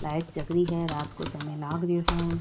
Light जग रही है रात को समय लाग रियो है।